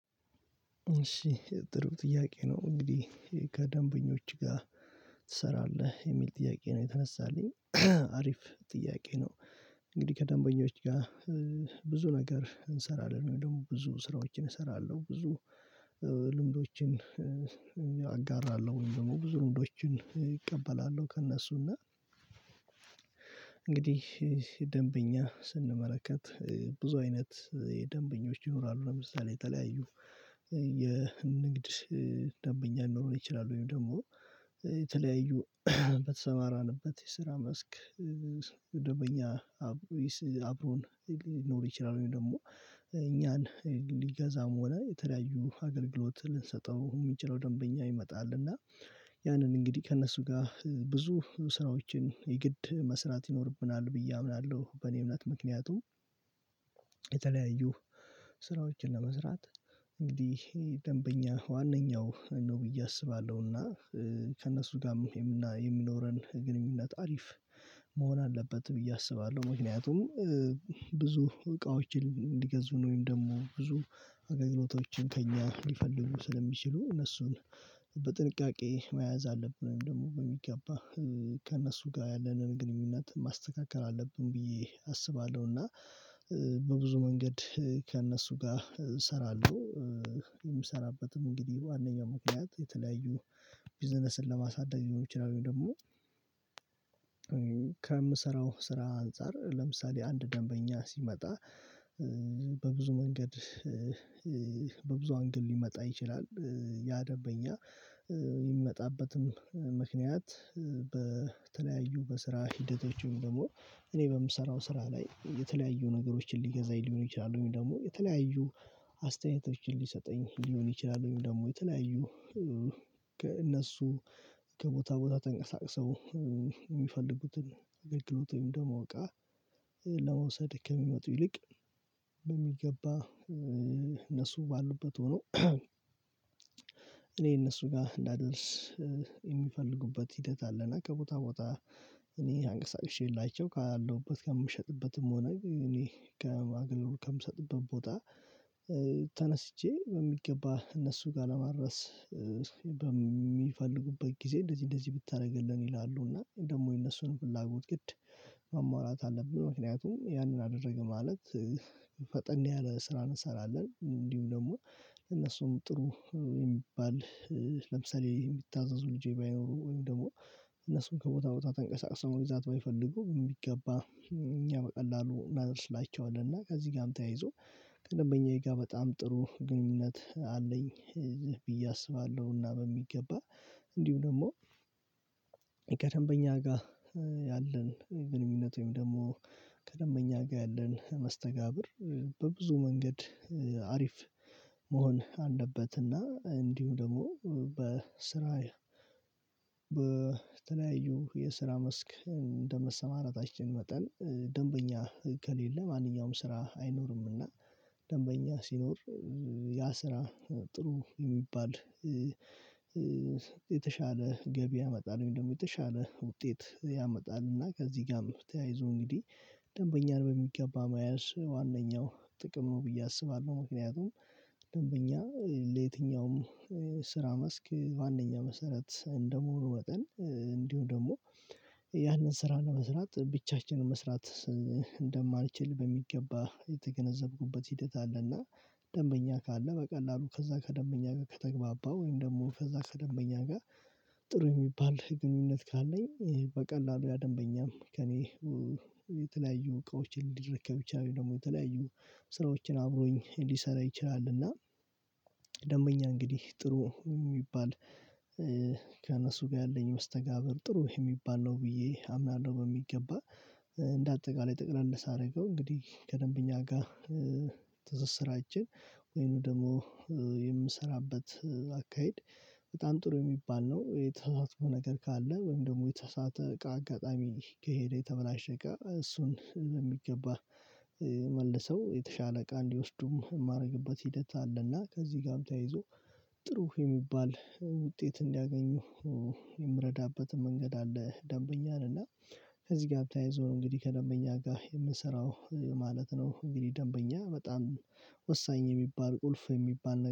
እሺ ጥሩ ጥያቄ ነው እንግዲህ ከደንበኞች ጋር ትሰራለህ የሚል ጥያቄ ነው የተነሳልኝ። አሪፍ ጥያቄ ነው። እንግዲህ ከደንበኞች ጋር ብዙ ነገር እንሰራለን ደግሞ ብዙ ስራዎችን እሰራለሁ ብዙ ልምዶችን። አጋራለሁ ደግሞ ብዙ ልምዶችን እቀበላለሁ ከእነሱ እና እንግዲህ ስንመለከት ብዙ አይነት የደንበኞች ይኖራሉ። ለምሳሌ የተለያዩ የንግድ ደንበኛ ሊኖር ይችላል። ወይም ደግሞ የተለያዩ በተሰማራንበት የስራ መስክ። ወደበኛ አብሮን ሊኖር ይችላል ወይም ደግሞ እኛን ሊገዛም ሆነ የተለያዩ አገልግሎት ልንሰጠው የሚችለው ደንበኛ ይመጣል። እና ያንን እንግዲህ ከእነሱ ጋር ብዙ ስራዎችን የግድ መስራት ይኖርብናል ብዬ አምናለሁ። በእኔ እምነት ምክንያቱም የተለያዩ ስራዎችን ለመስራት እንግዲህ ይሄ ደንበኛ ዋናው ነው ብዬ አስባለሁ። እና ከእነሱ ጋርም የምኖረን ግንኙነት አሪፍ መሆን አለበት ብዬ አስባለሁ። ምክንያቱም ብዙ እቃዎችን ሊገዙ ወይም ደግሞ ብዙ አጋጥሞቶችን ከእኛ ሊፈልጉ ስለሚችሉ እነሱን በጥንቃቄ መያዝ አለብንም ደግሞ በሚገባ ከእነሱ ጋር ያለንን ግንኙነት ማስተካከል አለብን። ብዬ አስባለሁ እና በብዙ መንገድ ከእነሱ ጋር እሰራለሁ። የምሰራበትም እንግዲህ አንደኛው ምክንያት የተለያዩ ቢዝነስን ለማሳደግ ሊሆን ይችላል። ደግሞ ከምሰራው ስራ አንፃር ለምሳሌ አንድ ደንበኛ ሲመጣ በብዙ መንገድ በብዙ አንግል ሊመጣ ይችላል። ያ ደንበኛ የሚመጣበትም ምክንያት በተለያዩ በስራ ሂደቶችም ደግሞ እኔ በምሰራው ስራ ላይ የተለያዩ ነገሮችን ሊገዛኝ ሊሆን ይችላል። ወይም ደግሞ የተለያዩ አስተያየቶችን ሊሰጠኝ ሊሆን ይችላል። ደግሞ የተለያዩ ከእነሱ ከቦታ ቦታ ተንቀሳቅሰው አገልግሎት ወይም ደግሞ እቃ ለመውሰድ ከሚመጡ ይልቅ በሚገባ እነሱ ባሉበት ሆኖ እኔ እነሱ ጋር እንዳደርስ። የሚፈልጉበት ሂደት አለና ከቦታ ቦታ እኔ አንቀሳቅሼላቸው ካለሁበት ከምሸጥበትም ሆነ እኔ ከምሰጥበት ቦታ ተነስቼ በሚገባ እነሱ ጋር ለማድረስ በሚፈልጉበት ጊዜ እንደዚህ እንደዚህ ብታደርግልን ይላሉ። እና ደግሞ የነሱን ፍላጎት ግድ መሟላት አለብን። ምክንያቱም ያንን አደረገ ማለት ፈጠን ያለ ስራ እንሰራለን። እንዲሁ ደግሞ እነሱም ጥሩ የሚባል ለምሳሌ የሚታዘዙ ልጄ ባይኖሩ ወይም ደግሞ እነሱን ከቦታ ቦታ ተንቀሳቅሰው መግዛት ባይፈልጉ የሚገባ እኛ በቀላሉ እናደርስላቸዋለን። እና ከዚህ ጋርም ተያይዞ ከደንበኛዬ ጋር በጣም ጥሩ ግንኙነት አለኝ። ብዬ አስባለሁና በሚገባ እንዲሁ ደግሞ ከደንበኛ ጋር ያለን ግንኙነት ወይም ደግሞ ከደንበኛ ጋር ያለን መስተጋብር በብዙ መንገድ አሪፍ መሆን አለበት። እና እንዲሁ ደግሞ በስራ በተለያዩ የስራ መስክ እንደመሰማራታችን መጠን ደንበኛ ከሌለ ማንኛውም ስራ አይኖርምና። ደንበኛ ሲኖር ያ ስራ ጥሩ የሚባል የተሻለ ገቢ ያመጣል ወይም ደግሞ የተሻለ ውጤት ያመጣል። እና ከዚህ ጋርም ተያይዞ እንግዲህ ደንበኛን በሚገባ መያዝ ዋናው ጥቅም ነው ብዬ አስባለሁ። ምክንያቱም ደንበኛ ለየትኛውም ስራ መስክ በአንደኛ መሰረት እንደመሆኑ መጠን እንዲሁ ደግሞ ያንን ስራና መስራት ብቻችንን መስራት በሚገባ የተገነዘብኩበት ሂደት አለና። ደንበኛ ካለ በቀላሉ ከዛ ከደንበኛ ጋር ከተግባባ ወይም ደግሞ ከዛ ከደንበኛ ጋር ጥሩ የሚባል ግንኙነት ካለኝ ይሄ በቀላሉ ያደንበኛም ከእኔ የተለያዩ እቃዎችን ሊረከብ ይችላል። ደግሞ የተለያዩ ስራዎችን አብሮኝ ሊሰራ ይችላልና። ደንበኛ እንግዲህ ጥሩ የሚባል ከእነሱ ጋር ያለኝ መስተጋብር ጥሩ የሚባል ነው ብዬ አምናለሁ። በሚገባ እንደ አጠቃላይ ጠቅለል ሳደርገው እንግዲህ ከደንበኛ ጋር ትስስራችን ወይኑ ደግሞ የምሰራበት አካሄድ በጣም ጥሩ የሚባል ነው። የተሳተፉ ነገር ካለ ወይም ደግሞ የተሳተፋ አጋጣሚ ከሄደ የተመላሸ ጋር እሱን በሚገባ መልሰው የተሻለ አለቃ እንዲወስዱም የማደርግበት ሂደት አለና ከዚህ ጋርም ተያይዞ ጥሩ የሚባል ውጤት እንዲያገኙ የምረዳበት መንገድ አለ። ደንበኛ ነን እና ከዚህ ጋር ተያይዞ ነው እንግዲህ ከደንበኛ ጋር የምንሰራው የምሰራው ማለት ነው። እንግዲህ ደንበኛ በጣም ወሳኝ የሚባል ቁልፍ የሚባል